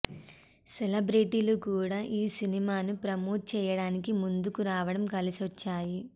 సెలబ్రెటీలు కూడా ఈ సినిమాను ప్రమోట్ చేయడానికి ముందుకు రావడం కలిసొచ్చాయి